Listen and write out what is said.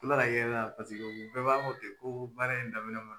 U nana yɛlɛ na paseke u bɛɛ b'a fɔ ten ko baara in daminɛ ma